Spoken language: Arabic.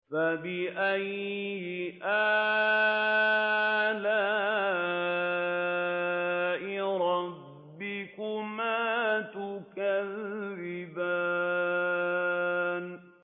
فَبِأَيِّ آلَاءِ رَبِّكُمَا تُكَذِّبَانِ